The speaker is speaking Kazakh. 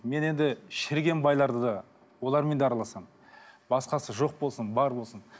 мен енді шіріген байларды да олармен де араласамын басқасы жоқ болсын бар болсын